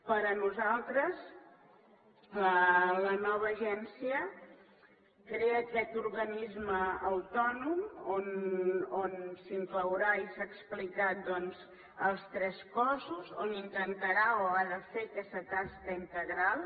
per nosaltres la nova agència crea aquest organisme autònom on s’inclouran i s’ha explicat doncs els tres cossos que intentarà o ha de fer aquesta tasca integral